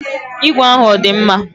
Igwe ahụ ọ dị mma?